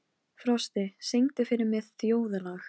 Hermann hugsaði um hana þegar hann var kominn heim.